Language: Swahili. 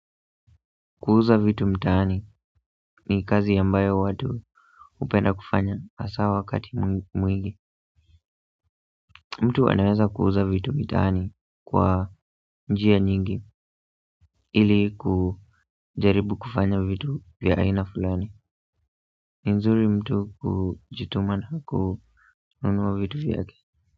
Kuuza vitu mtani ni kazi ambayo watu hupenda kufanya hasa wakati mwingi mtu anaweza kuuza vitu mitaani kwa njia nyingi ili kujaribu kufanya vitu vya aina fulani nzuri mtu hujituma na kununuwa vitu vyake.